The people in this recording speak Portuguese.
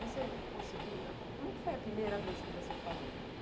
Você conseguiu, como é que foi a primeira vez que você falou?